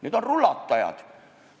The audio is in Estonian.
Need on rulatajad.